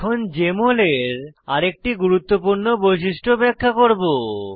এখন জেএমএল এর আরেকটি গুরুত্বপূর্ণ বৈশিষ্ট্য ব্যাখ্যা করব